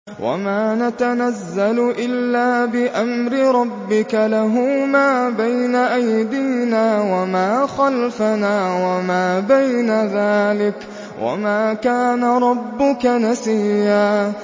وَمَا نَتَنَزَّلُ إِلَّا بِأَمْرِ رَبِّكَ ۖ لَهُ مَا بَيْنَ أَيْدِينَا وَمَا خَلْفَنَا وَمَا بَيْنَ ذَٰلِكَ ۚ وَمَا كَانَ رَبُّكَ نَسِيًّا